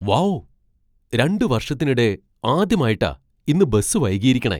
Wow, രണ്ട് വർഷത്തിനിടെ ആദ്യമായിട്ടാ ഇന്ന് ബസ് വൈകിയിരിക്കണെ .